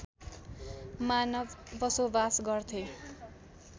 मानव बसोबास गर्थे